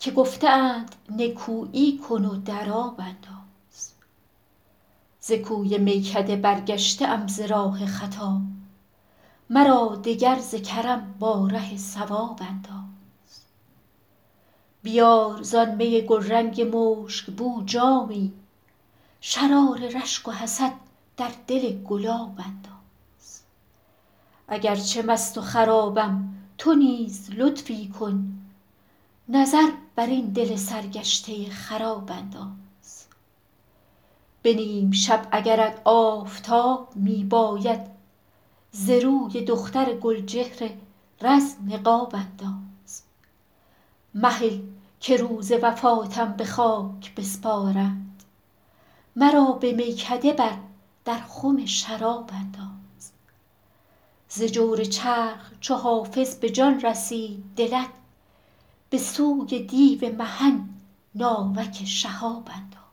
که گفته اند نکویی کن و در آب انداز ز کوی میکده برگشته ام ز راه خطا مرا دگر ز کرم با ره صواب انداز بیار زآن می گلرنگ مشک بو جامی شرار رشک و حسد در دل گلاب انداز اگر چه مست و خرابم تو نیز لطفی کن نظر بر این دل سرگشته خراب انداز به نیم شب اگرت آفتاب می باید ز روی دختر گل چهر رز نقاب انداز مهل که روز وفاتم به خاک بسپارند مرا به میکده بر در خم شراب انداز ز جور چرخ چو حافظ به جان رسید دلت به سوی دیو محن ناوک شهاب انداز